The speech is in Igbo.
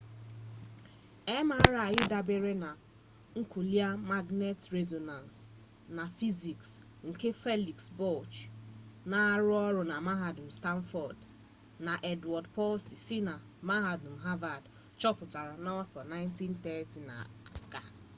mri dabeere na nuklia magnetik rezonans nmr na fiziks nke felix bloch na-arụ ọrụ na mahadum stanford na edward purcell si na mahadum havad chọpụtara n'afọ 1930 ga